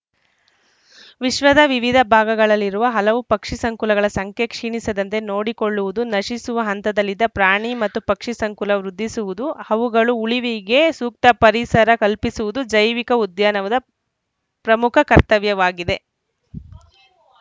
ವಿಶ್ವದ ವಿವಿಧ ಭಾಗಗಳಲ್ಲಿರುವ ಹಲವು ಪಕ್ಷಿ ಸಂಕುಲಗಳ ಸಂಖ್ಯೆ ಕ್ಷೀಣಿಸದಂತೆ ನೋಡಿಕೊಳ್ಳುವುದು ನಶಿಸುವ ಹಂತದಲ್ಲಿದ್ದ ಪ್ರಾಣಿ ಮತ್ತು ಪಕ್ಷಿ ಸಂಕುಲ ವೃದ್ಧಿಸುವುದು ಅವುಗಳು ಉಳಿವಿಗೆ ಸೂಕ್ತ ಪರಿಸರ ಕಲ್ಪಿಸುವುದು ಜೈವಿಕ ಉದ್ಯಾನವದ ಪ್ರಮುಖ ಕರ್ತವ್ಯವಾಗಿದೆ